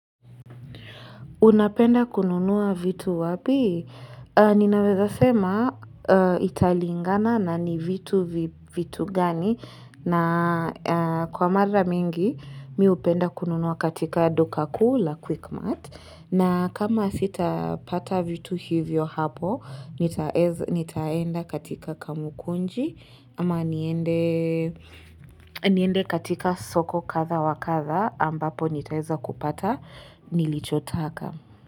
Unapenda kununua vitu wapi? Ninaweza sema italingana na ni vitu gani. Na kwa mara mingi, mimi hupenda kununua katika duka kuu la quickmatt na kama sitapata vitu hivyo hapo, nitaenda katika kamukunji. Ama niende katika soko kadha wa kadha ambapo nitaeza kupata nilichotaka.